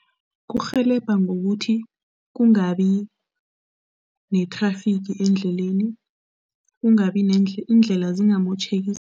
Kurhelebha ngokuthi kungabi nethrafigi endleleni, kungabi indlela zingamotjheki.